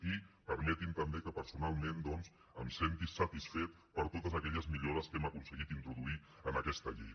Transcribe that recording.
i permetin me també que personalment em senti satisfet per totes aquelles millores que hem aconseguit introduir en aquesta llei